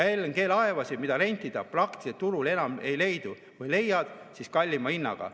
LNG‑laevasid, mida rentida, praktiliselt turul enam ei leidu, kui leiad, siis kallima hinnaga.